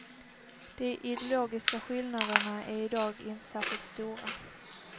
De ideologiska skillnaderna är i dag inte särskilt stora.